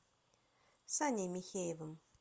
саней михеевым